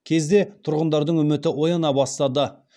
кезде тұрғындардың үміті ояна бастады